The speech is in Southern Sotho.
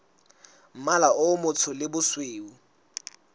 mmala o motsho le bosweu